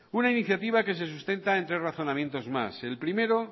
una iniciativa que se sustenta en tres razonamientos más el primero